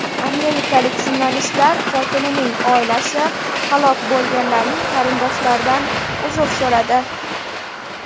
Amerikalik jurnalistlar qotilining oilasi halok bo‘lganlarning qarindoshlaridan uzr so‘radi.